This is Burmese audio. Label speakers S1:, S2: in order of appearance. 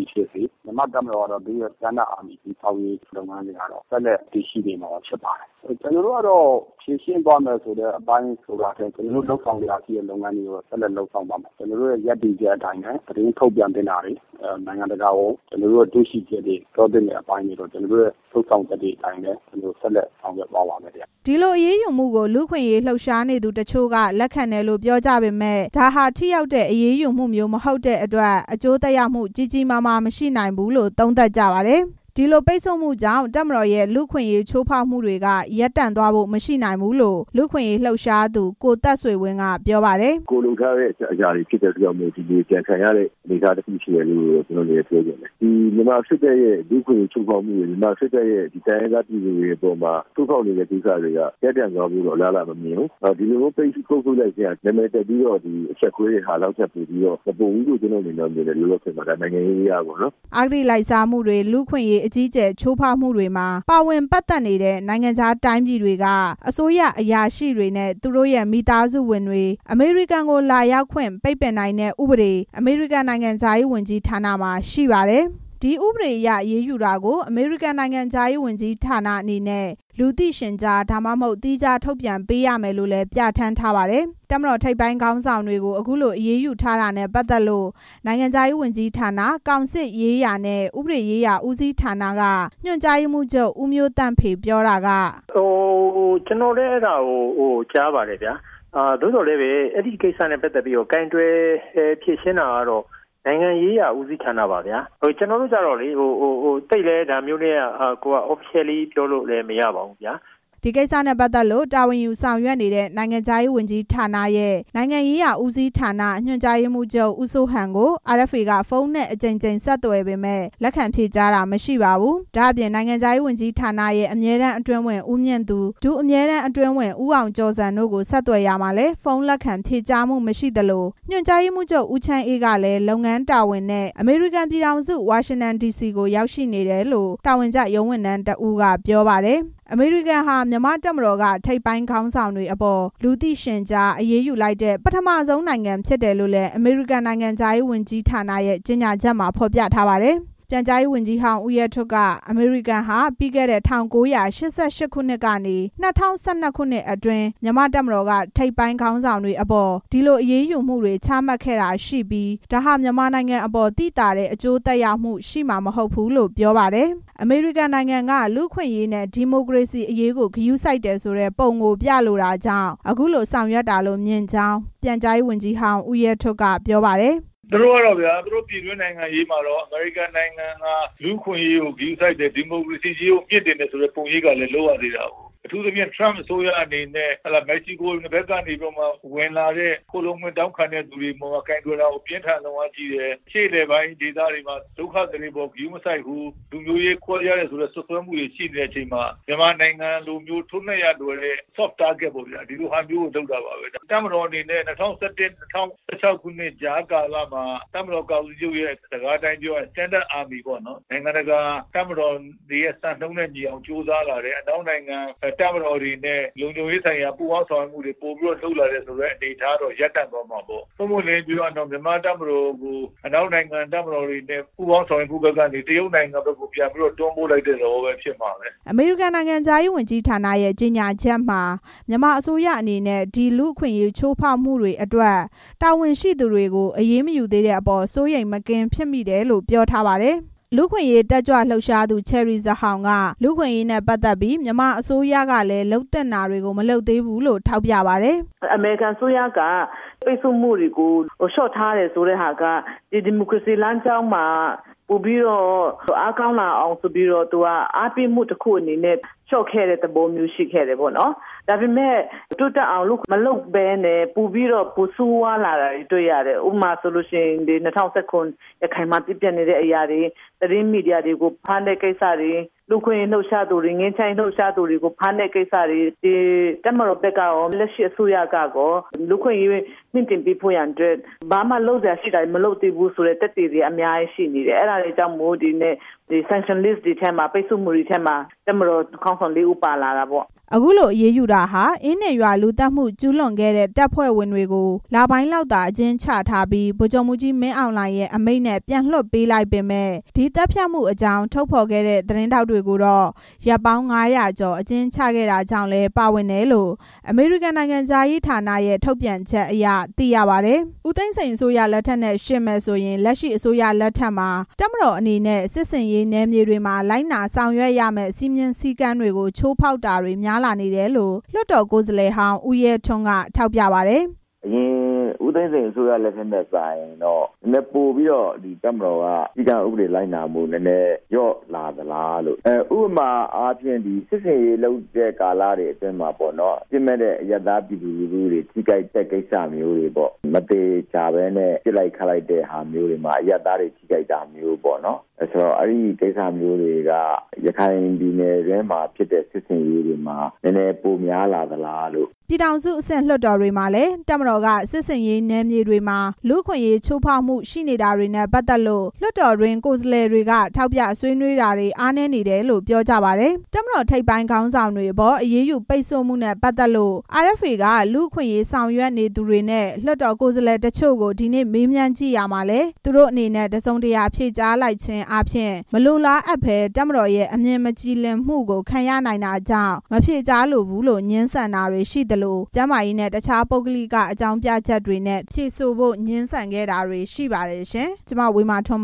S1: ည်ဖြစ်စေ မြန်မာ့တပ်မတော်က နိုင်ငံတကာ အဆင့်မီတပ်မတော် တည်ဆောက်ရေး လုပ်ငန်းစဉ်က ဆက်လက်တည်ရှိနေမှာ ဖြစ်ပါတယ်။ ကျနော်တို့က ဖြေရှင်းသွားမယ်ဆိုတဲ့ အပိုင်းထက် ကျနော်တို့ လုပ်ဆောင်စရာရှိတဲ့ လုပ်ငန်းတွေကို လုပ်သွားမယ်။ ကျနော်တို့ ရပ်တည်ချက်အတိုင်းပဲ သတင်း ထုတ်ပြန်သင့်တာတွေ နိုင်ငံတကာကို ပြောသင့်တာတွေကို ကျနော်တို့ လုပ်ဆောင်ချက် အတိုင်းပဲ ဆက်လက် လုပ်ဆောင်သွားပါမယ်" ဒီလိုအရေးယူမှုကို လူ့အခွင့်အရေးလှုပ်ရှားနေကြသူ တချို့က လက်ခံတယ်လို့ ပြောကြပေမယ့် ဒါဟာ ထိရောက်တဲ့အရေးယူမှုမျိုးမဟုတ်တဲ့အတွက် အကျိုးသက်ရောက် ကြီးကြီးမားမား မရှိနိုင်ဘူးလို့ သုံးသပ်ကြပါတယ်။ ဒီလိုပိတ်ဆို့မှုတွေကြောင့် တပ်မတော်ရဲ့ လူ့အခွင့်အရေးချိုးဖောက်မှုတွေက ရပ်တန့်သွားဖို့ မရှိနိုင်ဘူးလို့ လူ့အခွင့်အရေးလှုပ်ရှားသူ ကိုသက်ဆွေဝင်းက ပြောပါတယ်။ "ကိုယ်လုပ်ထားတဲ့အရာတွေရှိလို့ ပြန်ခံရတဲ့ အနေအထားရှိတယ်လို့ ကျနော့် အနေနဲ့ ပြောချင်တယ်။ မြန်မာစစ်တပ်ရဲ့ ဥပဒေချိုးဖောက်မှုတွေ၊ တိုင်းရင်းသား ပြည်နယ်တွေမှာ ချိုးဖောက်နေတဲ့ ကိစ္စတွေက ရပ်တန့်သွားဖို့ အလားအလာတော့ မမြင်ဘူး။ ဒီလိုမျိုး ပိတ်ဆို့လိုက်ခြင်းက နာမည်တပ်ပြီးတော့ အရှက်ခွဲလိုက်တဲ့ဟာ ထက်မပိုဘူးလို့ မြင်တယ်။ နိုင်ငံရေးအရပေါ့နော်" အဂတိလိုက်စားမှုတွေ၊ လူ့အခွင့်အရေး အကြီးအကျယ် ချိုးဖောက်မှုတွေမှာ ပါဝင်ပတ်သက်နေတဲ့ နိုင်ငံခြားတိုင်းပြည်တွေက အစိုးရအရာရှိတွေနဲ့ သူတို့ရဲ့ မိသားစုဝင်တွေ အမေရိကန်ကို လာရောက်ဖို့ ပိတ်ပင်နိုင်တဲ့ ဥပဒေ အမေရိကန် နိုင်ငံခြားရေးဌာနမှာ ရှိပါတယ်။ ဒီဥပဒေအရ အရေးယူတာကို အမေရိကန် နိုင်ငံခြားရေးဝန်ကြီးအနေနဲ့ လူသိရှင်ကြား ဒါမှမဟုတ် သီးခြားထုတ်ပြန်ပေးရမယ်လို့လည်း ပြဌာန်းထားပါတယ်။ တပ်မတော်ထိပ်ပိုင်းခေါင်းဆောင်တွေကို အခုလိုအရေးယူထားတာနဲ့ ပတ်သက်လို့ နိုင်ငံခြားရေး ဝန်ကြီးဌာန၊ ကောင်စစ်ရေးရာနဲ့ ဥပဒေရေးရာဦးစီးဌာနက ညွန်ကြားရေးမှူးချုပ် ဦးမျိုးသန့်ဖေ ပြောတာက ကျနော်တို့က ဒါနဲ့ပတ်သက်လို့ သိပ်လည်း တရားဝင် ပြောလို့မရပါဘူး "ကျနော်လည်း အဲဒါကို ကြားပါတယ်ဗျာ။ သို့သော်လည်း အဲဒီကိစ္စနဲ့ ပတ်သက်ပြီး ကိုင်တွယ်ဖြေရှင်းတာကတော့ နိုင်ငံရေးရာဦးစီးဌာနကပါ။ ကျနော်တို့က ဒါနဲ့ပတ်သက်လို့ သိပ်လည်း တရားဝင် ပြောလို့မရပါဘူး" ဒီကိစ္စနဲ့ ပတ်သက်လို့ တာဝန်ယူဆောင်ရွက်နေတဲ့ နိုင်ငံခြားရေးဝန်ကြီးဌာနရဲ့ နိုင်ငံရေးရာဦးစီးဌာန ညွန်ကြားရေးမှူးချုပ် ဦးစိုးဟန်ကို RFA က ဖုန်းနဲ့ အကြိမ်ကြိမ်ဆက်သွယ်ပေမယ့် လက်ခံဖြေကြား တာမရှိပါဘူး။ ဒါ့အပြင် နိုင်ငံခြားရေးဝန်ကြီးဌာနရဲ့ အမြဲတမ်းအတွင်းဝန် ဦးမြင့်သူ ဒု အမြဲတမ်းအတွင်းဝန် ဦးအောင် ကျော်ဇံတို့ကို ဆက်သွယ်ရာမှာလည်း ဖုန်းလက်ခံဖြေကြားမှုမရှိသလို ညွန်ကြားရေးမှူးချုပ် ဦးချမ်းအေးကလည်း လုပ်ငန်းတာဝန်နဲ့ အမေရိကန်ပြည်ထောင်စု ဝါရှင်တန်ဒီစီကို ရောက်ရှိနေတယ်လို့ တာဝန်ကျ ရုံးဝန်ထမ်းတစ်ဦးက ပြောပါတယ်။ အမေရိကန်ဟာ မြန်မာ့တပ်မတော်က ထိပ်ပိုင်းခေါင်းဆောင်တွေအပေါ် လူသိရှင်ကြား အရေးယူလိုက်တဲ့ ပထမဦးဆုံးနိုင်ငံ ဖြစ်တယ်လို့ အမေရိကန်နိုင်ငံခြားရေးဌာန ကြေညာချက်မှာ ဖော်ပြထားပါတယ်။ ပြန်ကြားရေးဝန်ကြီးဟောင်း ဦးရဲထွဋ်က အမေရိကန်ဟာ ပြီးခဲ့တဲ့ ၁၉၈၈ ခုနှစ်ကနေ ၂၀၁၂ ခုနှစ် အတွင်း မြန်မာ့တပ်မတော်က ထိပ်ပိုင်းခေါင်းဆောင်တွေအပေါ် ဒီလိုအရေးယူမှုတွေ ချမှတ်ခဲ့တာရှိပြီး ဒါဟာ မြန်မာနိုင်ငံအပေါ်သိသာတဲ့ အကျိုးသက်ရောက်မှုရှိမှာ မဟုတ်ဘူးလို့ ပြောပါတယ်။ အမေရိကန်နိုင်ငံက လူ့အခွင့်အရေးနဲ့ ဒီမိုကရေစီအရေးကို ဂရုစိုက်တယ်ဆိုတဲ့ ပုံကိုပြလိုတာကြောင့် အခုလိုဆောင်ရွက်တာလို့ မြင်ကြောင်း ပြန်ကြားရေးဝန်ကြီးဟောင်း ဦးရဲထွဋ် ကပြောပါတယ်။ "သူတို့ ပြည်တွင်းနိုင်ငံရေးမှာ အမေရိကန်နိုင်ငံက လူ့အခွင့်အရေးကို ဂရုစိုက်တယ်။ ဒီမိုကရေစီအရေးကို မြှင့်တင်တယ်ဆိုတဲ့ ပုံရိပ်ကလည်း လုပ်ရသေးတာကို အထူးသဖြင့် ထရမ့် အစိုးရ အနေနဲ့ မက္ကဆီကို ဘက်ကနေ ဝင်လာတဲ့ ခိုလှုံခွင့်တောင်းခံသူတွေအပေါ် ကိုင်တွယ်တာ ပြင်းထန် လွန်းအားကြီးတယ်။ အရှေ့အလယ်ပိုင်း ဒေသတွေမှာ ဒုက္ခသည်တွေအပေါ် ဂရုမစိုက်ဘူး၊ လူမျိုးရေး ခွဲခြားတယ်ဆိုတဲ့ စွပ်စွဲမှုတွေ ရှိနေတဲ့အချိန်မှာ မြန်မာနိုင်ငံလိုမျိုး ထိုးနှက်ရ လွယ်တဲ့ဟာကို လုပ်တာ ပါပဲ။ တပ်မတော်အနေနဲ့ ၂၀၁၁ ကနေ ၂၀၁၆ ကြားကာလမှာ တပ်မတော် ကာကွယ်ရေးဦးစီးချုပ်ရဲ့ စကားအတိုင်းပြောရရင် Standard Army ပေါ့နော်။ နိုင်ငံတကာ တပ်မတော်တွေရဲ့ စံနှုန်းနဲ့ညီအောင် ကြိုးစားလာတယ်။ အနောက်နိုင်ငံ တပ်မတော်တွေနဲ့ လုံခြုံရေးဆိုင်ရာ ပူးပေါင်း ဆောင်ရွက်မှုတွေ လုပ်ဆောင်မယ်ဆိုတဲ့ ကိစ္စတွေတော့ ရပ်တန့်သွားမှာပေါ့။ ပွင့်ပွင့်လင်းလင်း ပြောရလို့ရှိရင် မြန်မာ့တပ်မတော်ကို အနောက်နိုင်ငံတွေနဲ့ ပူးပေါင်းဆောင်ရွက်မှုကနေ တရုတ်နိုင်ငံဘက်ကို တွန်းပို့ လိုက်သလို ဖြစ်မှာပဲ" အမေရိကန်နိုင်ငံခြားရေးဝန်ကြီးဌာနရဲ့ ကြေညာချက်မှာ မြန်မာအစိုးရအနေနဲ့ ဒီလူ့အခွင့်အရေး ချိုးဖောက်မှုတွေအတွက် တာဝန်ရှိသူတွေကို အရေးမယူသေးတဲ့အပေါ် စိုးရိမ်မကင်း ဖြစ်မိတယ်လို့ ပြောထားပါတယ်။ လူ့အခွင့်အရေးနဲ့ ပတ်သက်ပြီး မြန်မာအစိုးရကလည်း လုပ်သင့်တာတွေကို မလုပ်သေးဘူးလို့ လူ့အခွင့်အရေးတက်ကြွလှုပ်ရှားသူ ချယ်ရီဇာဟောင် ကပြောပါတယ်။ "အမေရိကန်အစိုးရက ဒီမိုကရေစီလမ်းကြောင်းမှာ ပိုပြီးတော့ အားကောင်းအောင်ဆိုတဲ့ သဘောနဲ့ ပိတ်ဆို့မှုတွေကို လျှော့ခဲ့တယ်။ ဒါပေမဲ့ တိုးတက်အောင်မလုပ်ဘဲ ပိုဆိုးဝါးလာတာကို တွေ့ရတယ်။ ဥပမာအားဖြင့် ၂၀၁၇ ရခိုင်မှာ ဖြစ်ပျက်နေတဲ့အရာတွေ၊ သတင်းမီဒီယာတွေကို ဖမ်းတဲ့အရာတွေ၊ လူ့အခွင့်အရေး လှုပ်ရှားသူ၊ ငြိမ်းချမ်းရေးလှုပ်ရှားသူတွေကို ဖမ်းတဲ့ကိစ္စတွေ။ တပ်မတော်ဘက်ကကော၊ လက်ရှိအစိုးရဘက်ကကော လူ့အခွင့်အရေး မြှင့်တင်ပေးဖို့ရန်အတွက် ဘာမှလုပ်စရာရှိတာတွေ မလုပ်သေးဘူးဆိုတဲ့ သက်သေတွေ အများကြီးရှိနေတယ်။ အဲဒါတွေကြောင့် ပိတ်ဆို့မှုတွေထဲမှာ တပ်မတော် ခေါင်းဆောင်လေးဦး ပါလာတာပေါ့" အခုလိုအရေးယူတာဟာ အင်းဒင်ရွာလူသတ်မှု ကျူးလွန်ခဲ့တဲ့ တပ်ဖွဲ့ဝင်တွေကို လပိုင်းလောက်သာ အကျဉ်းချထားပြီး ဗိုလ်ချုပ်မှူးကြီး မင်းအောင်လှိုင်ရဲ့ အမိန့်နဲ့ ပြန်လွှတ်ပေးလိုက်ပေမယ့်၊ ဒီသတ်ဖြတ် မှုအကြောင်း ဖော်ထုတ်ခဲ့တဲ့ သတင်းထောက်တွေကိုတော့ ရက်ပေါင်း ငါးရာကျော် အကျဉ်းချခဲ့တာကြောင့်လည်း ပါဝင်တယ်လို့ အမေရိကန်နိုင်ငံခြားရေးဌာနရဲ့ ထုတ်ပြန်ချက်အရ သိရပါတယ်။ ဦးသိန်းစိန်အစိုးရလက်ထက်နဲ့ ယှဉ်မယ်ဆိုရင် လက်ရှိ အစိုးရလက်ထက်မှာ တပ်မတော်အနေနဲ့ စစ် ဆင်ရေးနယ်မြေတွေမှာ လိုက်နာဆောင်ရွက်ရမယ့် စည်းမျဉ်းစည်းကမ်းတွေကို ချိုးဖောက်တာ တွေပိုများလာနေတယ်လို့လည်း လွှတ်တော်ကိုယ်စားလှယ်ဟောင်း ဦးရဲထွန်းက သုံးသပ်ပါတယ်။ "ဦးသိန်းစိန် အစိုးရလက်ထက်နဲ့ စာရင်တော့ နည်းနည်းပိုပြီးတော့ တပ်မတော်က စည်းကမ်းဥပဒေ လိုက်နာမှုလျော့လာသလားလို့ ဥပမာအားဖြင့် စစ်ဆင်ရေးလုပ်တဲ့ကာလတွေမှာ အပြစ်မဲ့တဲ့ အရပ်သားပြည်သူတွေ ထိခိုက်တဲ့ကိစ္စတွေ၊ မသေချာဘဲနဲ့ ပစ်လိုက်ခတ်လိုက်တဲ့ဟာမျိုးတွေမှာ အရပ် သားတွေ ထိခိုက်တာမျိုးတွေပေါ့။ အဲ့ဒီကိစ္စတွေက ရခိုင်ပြည်နယ်အတွင်းမှာ ဖြစ်တဲ့ ဖြစ်စဉ်ထဲမှာ နည်းနည်းပိုများလာသလားလို့" ပြည်ထောင်စုအဆင့် လွှတ်တော်တွေမှာလည်း တပ်မတော်က စစ်ဆင်ရေးနယ်မြေတွေမှာ လူ့အခွင့် အရေးချိုးဖောက်မှုတွေရှိနေတာနဲ့ ပတ်သက်လို့ လွှတ်တော်တွင်း ကိုယ်စားလှယ်တွေက ထောက်ပြ ဆွေးနွေးတာတွေ အားနည်းတယ်လို့ ပြောကြပါတယ်။ တပ်မတော်ထိပ်ပိုင်းခေါင်းဆောင်တွေအပေါ် အရေးယူပိတ်ဆို့မှုနဲ့ ပတ်သက်လို့ RFA က လူ့အခွင့် အရေးဆောင်ရွက်နေသူတွေနဲ့ လွှတ်တော်ကိုယ်စားလှယ် တချို့ကို ဒီနေ့ မေးမြန်းကြည့်ရာမှာလည်း သူတို့အနေနဲ့ တစ်စုံတရာဖြေကြားလိုက်ခြင်းအားဖြင့် မလိုလားအပ်ဘဲ တပ်မတော်ရဲ့ အမြင်မကြည်လင်မှုကို ခံရနိုင်တာကြောင့် မဖြေကြားလိုဘူးလို့ ငြင်းဆန်တာတွေရှိသလို ကျန်းမာရေးနဲ့ တခြား ပုဂ္ဂလိက အကြောင်းပြချက်တွေနဲ့ ဖြေဆိုဖို့ငြင်းဆန်တာတွေ ရှိခဲ့ပါတယ်ရှင်။ (RFA သတင်းထောက် မဝေမာထွန်း